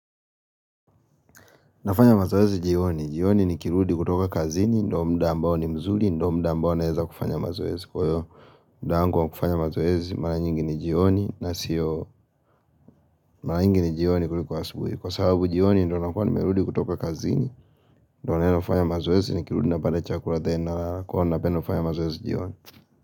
Nafanya mazoezi jioni, jioni ni kirudi kutoka kazini, ndio muda ambao ni mzuri, ndio muda ambao naeza kufanya mazoezi. Kwa hiyo, muda wangu wa kufanya mazoezi, mara nyingi ni jioni, na siyo mara nyingi ni jioni kuliko asubuhi. Kwa sababu jioni, ndio nakuwa nimerudi kutoka kazini, ndio niende kufanya mazoezi, nikirudi napata chakula tena nalala, kwa hiyo napenda kufanya mazoezi jioni.